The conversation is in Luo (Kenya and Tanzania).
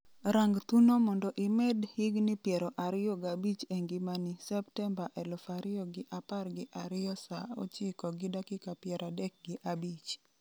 rang thuno mondo imed higni piero ariyo g'abich e ngimani Septemba 2012 3:35